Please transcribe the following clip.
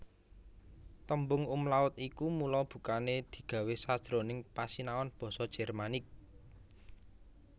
Tembung umlaut iki mula bukané digawé sajroning pasinaon basa Jermanik